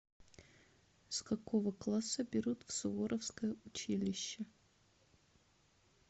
с какого класса берут в суворовское училище